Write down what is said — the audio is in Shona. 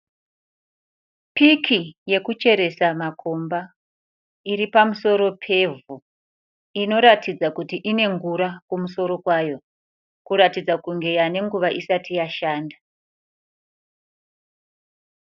Piki yekucheresa makomba iri pamusoro pevhu. Inoratidza kuti ine ngura kumusoro kwayo kuratidza kunge yava nenguva isati yashanda.